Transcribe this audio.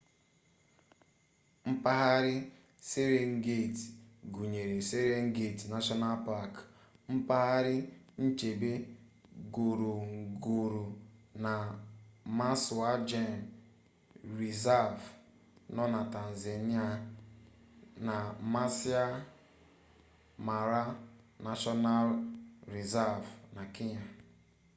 mpaghara serengeti gụnyere serengeti nashọnal pak mpaghara nchebe ngorongoro na maswa gem rịzav nọ na tanzania na maasai mara nashọnal rịzav na kenya